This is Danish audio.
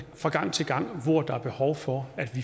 gang til gang hvor der er behov for at